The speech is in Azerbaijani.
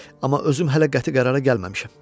Amma özüm hələ qəti qərara gəlməmişəm.